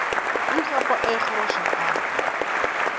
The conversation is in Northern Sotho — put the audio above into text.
o ikgapa a ikgoroša a